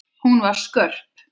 Hún var skörp.